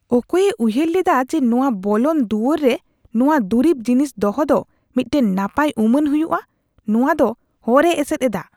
ᱚᱠᱚᱭᱮ ᱩᱭᱦᱟᱹᱨ ᱞᱮᱫᱟ ᱡᱮ ᱱᱚᱶᱟ ᱵᱚᱞᱚᱱ ᱫᱩᱣᱟᱹᱨ ᱨᱮ ᱱᱚᱶᱟ ᱫᱩᱨᱤᱵ ᱡᱤᱱᱤᱥ ᱫᱚᱦᱚ ᱫᱚ ᱢᱤᱫᱴᱟᱝ ᱱᱟᱯᱟᱭ ᱩᱢᱟᱹᱱ ᱦᱩᱭᱩᱜᱼᱟ ? ᱱᱚᱣᱟᱫᱚ ᱦᱚᱨᱮ ᱮᱥᱮᱫ ᱮᱫᱟ ᱾